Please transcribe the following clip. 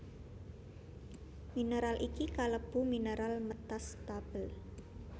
Mineral iki kalebu mineral metastable